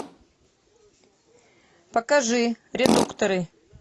покажи редукторы